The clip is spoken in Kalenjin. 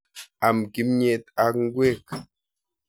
Am kimnyet ak ngwek.